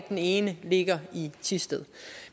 den ene ligger i thisted